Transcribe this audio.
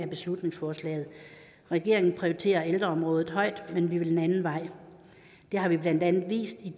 beslutningsforslaget regeringen prioriterer ældreområdet højt men vi vil en anden vej det har vi blandt andet vist i